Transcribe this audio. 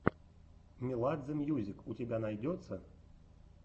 меладзе мьюзик у тебя найдется